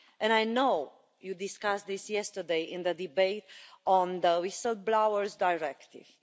I know you discussed this yesterday in the debate on the whistle-blowers' directive.